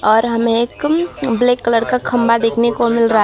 और हमें एकम ब्लैक कलर का खंबा देखने को मिल रहा है।